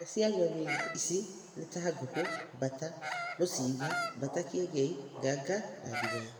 Imwe cia nyoni ici nĩ ta ngũkũ, mbata mũcinga, mbata kĩengei, nganga na ndigoe.